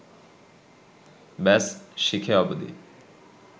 ব্যস, শিখে অবদি